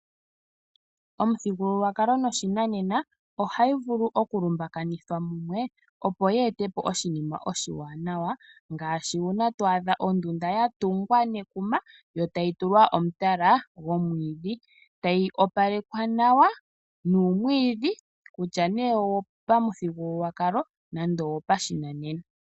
Omuthigululwakalo noshinanena ohayi vulu okulumbakanithwa mumwe opo ye etepo oshinima oshiwanawa ngaashi uuna twaadha ondunda yatungwa nekuma yo tayi tulwa omutala gomwiidhi, tayi opalekwa nawa nuumwiidhi kutya owo pamuthigululwakalo nenge wopashinanena .